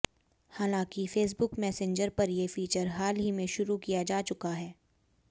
हालांकि Facebook Messenger पर ये फीचर हाल ही में शुरु किया जा चुका है